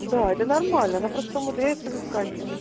да это нормально просто умудряется выскакивать